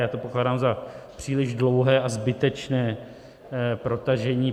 Já to pokládám za příliš dlouhé a zbytečné protažení.